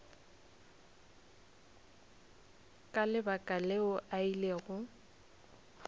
ka lebaka leo a ilego